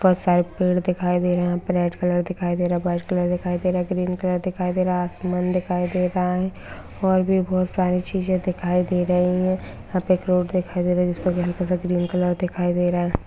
Side पेड़ दिखाई दे रहा है यहां पर रेड कलर दिखाई दे रहा है वाइट कलर दिखाई दे रहा है ग्रीन कलर दिखाई दे रहा है। आसमान दिखाई दे रहा है और भी बोहोत सारे चीजे दिखाई दे रही है यहां पे एक रोड दिखाई दे रही है जिस पर हलका सा ग्रीन कलर दिखाई दे रहा है।